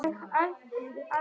Þín dóttir Jóhanna Inga.